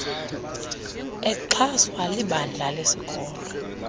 exhaswa libandla lesikolo